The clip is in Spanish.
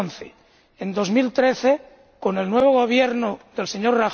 2011. En 2013, con el nuevo Gobierno del Sr.